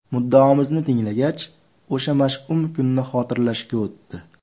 Muddaomizni tinglagach, o‘sha mash’um kunni xotirlashga o‘tdi.